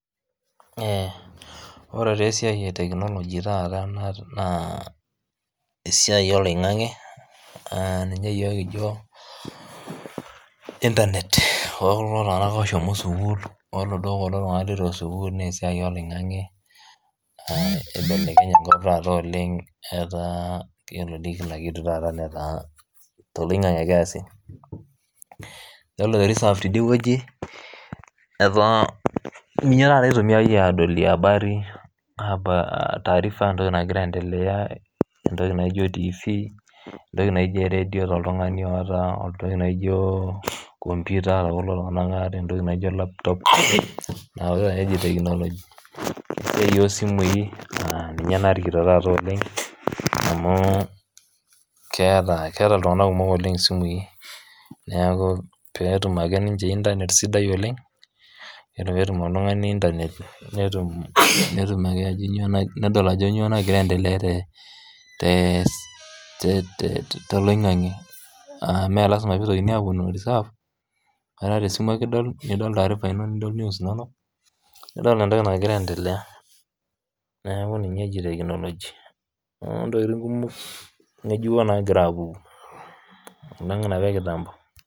Ore taa esiaai etekmoloji taata naa esiai oloing'ang'e ninye yoook kijo internet ookulo tunganak ooshomo sukuul eaduo okulo tunganak letu epo sukuul naa esiai oloing'ang'e eibelekenye taata enkop oleng etaa iyolo dei kila kitu taata netaa te loing'ang'ae ake easi, iyolo te reserve tedie weji etaa ninye taata eitumiyai aadolie habari taarifa entoki nagira aiendelea entoki naijo tivii, entoki naijo eredio te oltungani oota, entoki naijo computer to kulo tungana oata, entoki naijo laptop inatikitin taae eji technology incho iyee esimui naa nnche narikito taata oleng amu keata ltungana kumok oleng simuii naaku peetum ake ninche internet sidai oleng nedol ajo inyoo nagira aiendelea te loing'ang'e aa mee lasima peitokini aaponu reserve metaa te esimu ake idol, nidol taarifa ino nidol news inono, nidol entoki angira aiendelea, naaku inye eji technology naaku ntokitin kumok ng'ejuko maagira aapuku alang' enapa ekitambo.